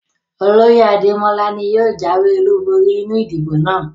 Oloye Ademola ni yóò jawe olubori ninu idibo naa